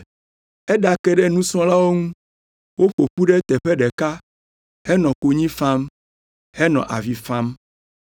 Eɖake ɖe nusrɔ̃lawo ŋu, woƒo ƒu ɖe teƒe ɖeka henɔ konyi fam, henɔ avi fam.